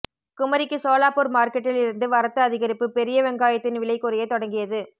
குமரிக்கு சோலாப்பூர் மார்க்கெட்டில் இருந்து வரத்து அதிகரிப்பு பெரிய வெங்காயத்தின் விலை குறைய தொடங்கியது